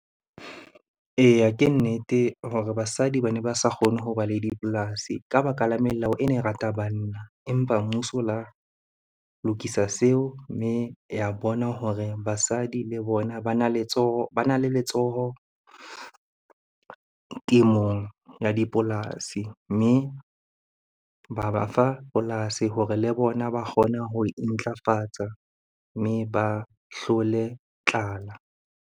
Eya, ke nnete hore basadi bane ba sa kgone ho ba le dipolasi ka baka la melao e ne rata banna. Empa mmuso o la lokisa seo mme ya bona hore basadi le bona bana letsoho, bana le letsoho temong ya dipolasi. Mme ba ba fa polasi hore le bona ba kgone ho intlafatsa mme ba hlole tlala.